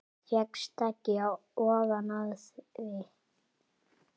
Fékkst ekki ofan af því.